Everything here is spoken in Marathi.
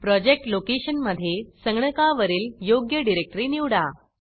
प्रोजेक्ट लोकेशनमधे संगणकावरील योग्य डिरेक्टरी निवडा